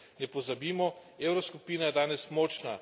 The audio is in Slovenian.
Ne pozabimo, evroskupina je danes močna.